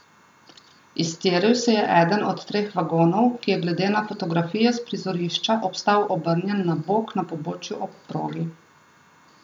Iztiril se je eden od treh vagonov, ki je glede na fotografije s prizorišča obstal obrnjen na bok na pobočju ob progi.